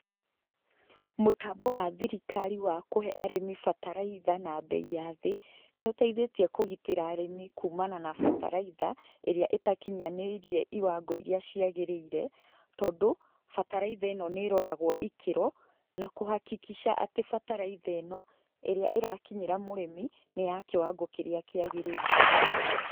Mũtambo wa thirikari wa kũhe arĩmi bataraitha na mbei ya thĩ, nĩ ũteithĩtie kũgitĩra arĩmi kũmana na bataraitha iria itakinyanĩirie iwango iria ciagĩrĩire, tondũ bataraitha ĩno nĩ ĩroragwo ikĩro , na kũ- hakikisha atĩ bataraitha ĩno ĩrĩa ĩrakinyĩra mũrĩmi nĩ ya kĩwango kĩrĩa kĩagĩrĩire.